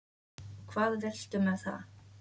Og hvað viltu með það?